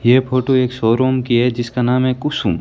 यह फोटो एक शोरूम की है जिसका नाम है कुसुम--